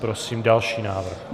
Prosím další návrh.